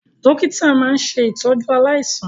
Dọ́kítà máa ń ṣe ìtọ́jú aláìsàn.